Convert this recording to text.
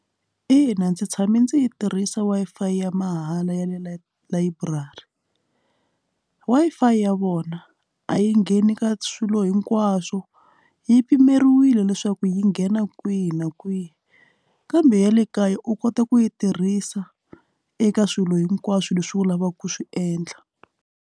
Ina, ndzi tshame ndzi yi tirhisa Wi-Fi ya mahala ya le library layiburari Wi-Fi ya vona a yi ngheni ka swilo hinkwaswo yi pimeriwile leswaku yi nghena kwihi na kwihi kambe ya le kaya u kota ku yi tirhisa eka swilo hinkwaswo leswi u lavaka ku swi endla.